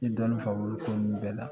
N ye dɔɔnin faamu o ko ninnu bɛɛ la